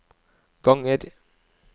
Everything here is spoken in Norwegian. ganger